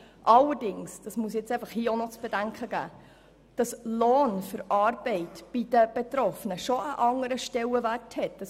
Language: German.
Allerdings – dies muss ich an dieser Stelle zu bedenken geben – hat Lohn für Arbeit bei den Betroffenen doch einen anderen Stellenwert als Sozialhilfe.